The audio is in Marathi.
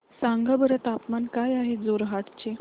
सांगा बरं तापमान काय आहे जोरहाट चे